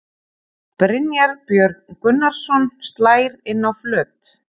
Brynjar Björn Gunnarsson slær inn á flöt.